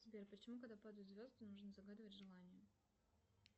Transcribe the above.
сбер почему когда падают звезды нужно загадывать желание